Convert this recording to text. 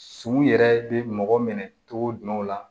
Suman yɛrɛ bɛ mɔgɔ minɛ cogo jumɛn la